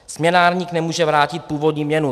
Směnárník nemůže vrátit původní měnu.